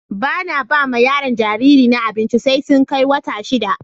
Ba na ba ma yaro jariri na abinci sai sun kai wata shida.